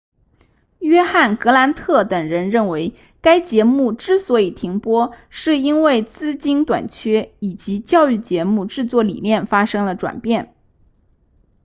约翰格兰特等人认为该节目之所以停播是因为资金短缺以及教育节目制作理念发生了转变